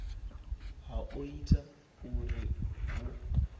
ha o ita uri hu